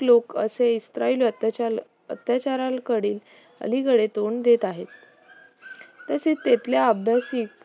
लोक असे इस्राईल अत्याचाराकडील अलीकडे तोंड देत आहेत तसेच तिथल्या अभ्यासिक